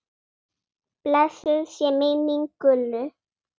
Blessuð sé minning Gullu.